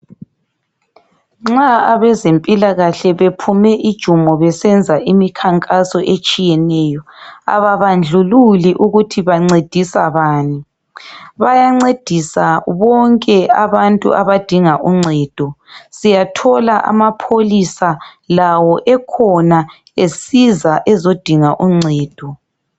Nxa abezempilakahle bephume ijumo, besenza imikhankaso etshiyeneyo ababandlululi ukuthi bancedisa bani. Bayancedisa bonke abantu abadinga uncedo. Siyathola amapholisa lawo ekhona, esiza ezodinga uncedo.